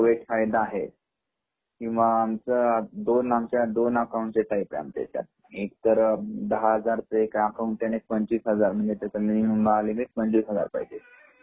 तर तो एक फायदा आहे किंवा आमच्या दोन अकाऊंट चे टाईप आहे आमच्या इच्यात एक तर दहा हजार अकाऊंट आणि एक पंचवीस हजार आहे त्यामुळे मिनिमम अकाऊंट पंचवीस हजार पाहिजे